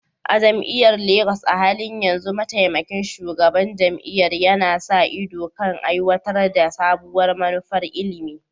A jami'ar Legas, a halin yanzu Mataimakin Shugaban Jami'ar yana sa ido kan aiwatar da sabuwar manufar ilimi.